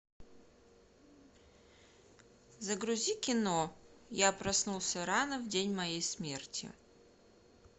загрузи кино я проснулся рано в день моей смерти